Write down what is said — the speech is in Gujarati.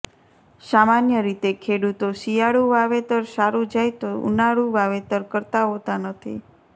સામાન્ય રીતે ખેડૂતો શિયાળુ વાવેતર સારૂ જાય તો ઉનાળુ વાવેતર કરતા હોતા નથી